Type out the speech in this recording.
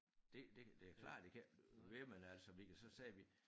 Det det det klart det kan ikke blive ved men altså vi kan så sige vi